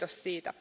Kiitos siitä.